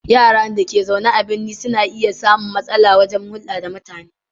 Yara da ke zaune a birni na iya samun matsala wajen hulɗa da mutane.